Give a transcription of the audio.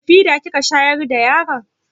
Da fida kika shayar da yaron?